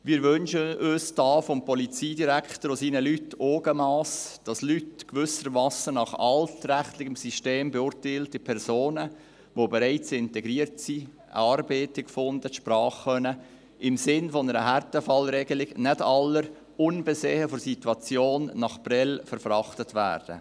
Wir wünschen uns hier vom Polizeidirektor und seinen Leuten Augenmass, damit Leute – gewissermassen nach altrechtlichem System beurteilte Personen – die bereits integriert sind, eine Arbeit gefunden haben, die Sprache können, im Sinn einer Härtefallregelung, nicht alle ungeachtet der Situation nach Prêles verfrachtet werden.